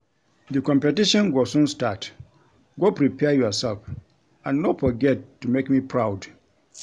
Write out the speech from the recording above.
The competition go soon start go prepare yourself and no forget to make me proud